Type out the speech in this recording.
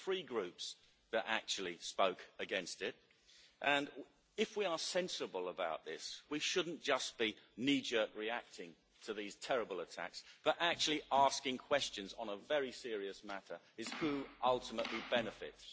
There were three groups that actually spoke against it, and if we are sensible about this we should not just be knee jerk reacting to these terrible attacks, but actually asking questions on a very serious matter who ultimately benefits?